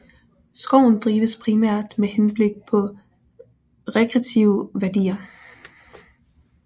Skoven drives primært med henblik på rekreative værdier